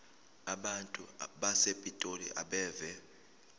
abantu basepitoli abeve